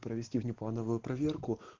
провести внеплановую проверку